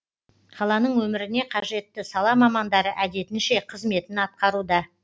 қаланың өміріне қажетті сала мамандары әдетінше қызметін атқаруда